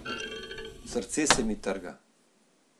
Srce se mi trga.